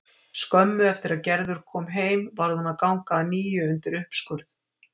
Skömmu eftir að Gerður kom heim varð hún að ganga að nýju undir uppskurð.